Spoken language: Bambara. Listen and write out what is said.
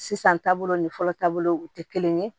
Sisan taabolo ni fɔlɔ taabolo u tɛ kelen ye